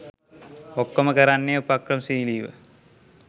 ඔක්කොම කරන්නේ උපක්‍රමශීලීව.